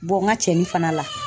n ka cɛnni fana la